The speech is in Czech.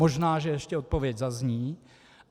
Možná že ještě odpověď zazní.